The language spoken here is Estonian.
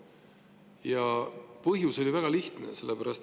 Ja põhjus oli väga lihtne.